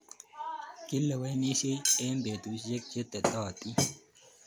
Kilewenisyei eng' petusyek che tetotin